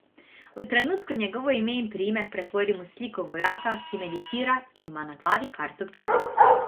V trenutku njegovo ime in priimek pretvorim v sliko vojaka, ki meditira in ima na glavi karto pika.